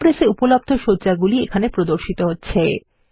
Impress এ উপলব্ধ সজ্জাগুলি এখানে প্রদর্শিত হচ্ছে